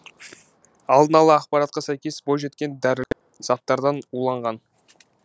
алдын ала ақпаратқа сәйкес бойжеткен дәрілік заттардан уланған